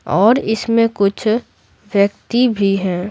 और इसमें कुछ व्यक्ति भी हैं।